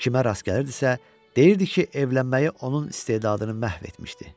Kimə rast gəlirdisə, deyirdi ki, evlənməyi onun istedadını məhv etmişdi.